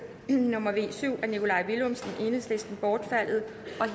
nummer v syv af nikolaj villumsen bortfaldet